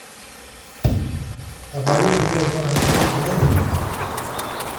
epali inkulie mbaka netoyu pee eitauni